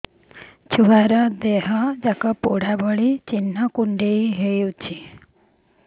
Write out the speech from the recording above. ଛୁଆର ଦିହ ଯାକ ପୋଡା ଭଳି ଚି଼ହ୍ନ କୁଣ୍ଡେଇ ହଉଛି